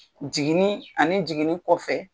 Jiginni ani jiginni kɔfɛ.